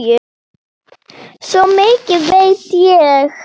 Svo mikið veit ég.